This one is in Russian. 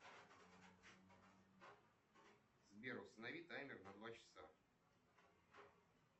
сбер установи таймер на два часа